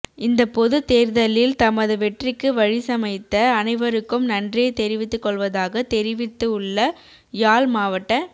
இந்தப் பொதுத் தேர்தலில் தமது வெற்றிக்கு வழிசமைத்த அனைவருக்கும் நன்றியை தெரிவித்துகொள்வதாக தெரிவித்துள்ள யாழ் மாவட்ட